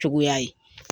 Cogoya ye